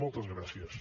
moltes gràcies